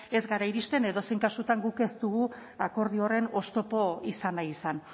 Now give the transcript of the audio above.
ez gara iristen edozein kasutan guk ez dugu akordio horren oztopo izan nahi izan